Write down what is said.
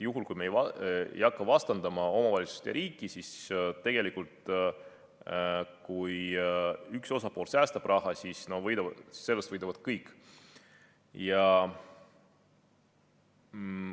Juhul, kui me ei hakka vastandama omavalitsust ja riiki, siis tegelikult on nii, et kui üks osapool säästab raha, siis sellest võidavad kõik.